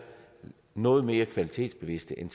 noget mere kvalitetsbevidste end